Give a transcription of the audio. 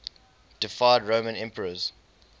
deified roman emperors